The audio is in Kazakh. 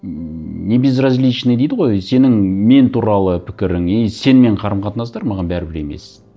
ммм небезразличный дейді ғой сенің мен туралы пікірің и сенімен қарым қатынастар маған бәрібір емес